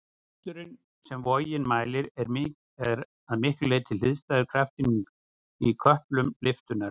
Krafturinn sem vogin mælir er að miklu leyti hliðstæður kraftinum í köplum lyftunnar.